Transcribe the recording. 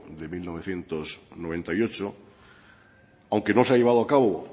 de mil novecientos noventa y ocho aunque no se ha llevado a cabo